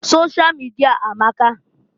Sosha mịdịa amaka.